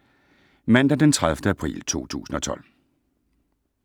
Mandag d. 30. april 2012